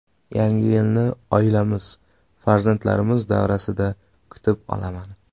Yangi yilni oilamiz farzandlarimiz davrasida kutib olaman.